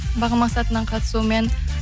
бағым мақсатовнаның қатысуымен